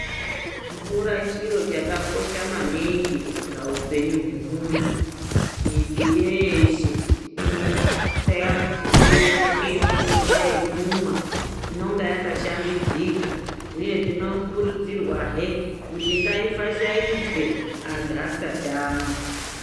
Mvura chiro chakakosha maningi paupenyu hwemuntu mizi yeshe inotseya kuti ive ngemvura yekumwa inonga yakashambidzika uye tinokurudzirwa zve kuti ngaifashaidzwe antu asati amwa.